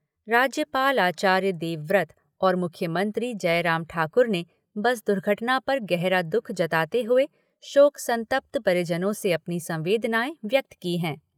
राज्यपाल आचार्य देवव्रत और मुख्यमंत्री जयराम ठाकुर ने बस दुर्घटना पर गहरा दुख जताते हुए शोक संतप्त परिजनों से अपनी संवेदनाएँ व्यक्त की हैं।